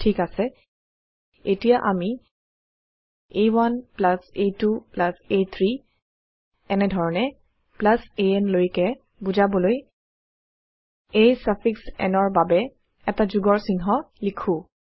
ঠিক আছে এতিয়া আমি আ1 আ2 আ3 এনেধৰনে আন লৈকে বুজাবলৈ a ছাফিক্স n ৰ বাবে এটা যোগৰ চিহ্ন লিখো